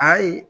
Ayi